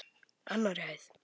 Annarri hæð.